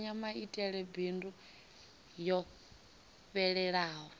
mbekanyamaitele ya bindu yo fhelelaho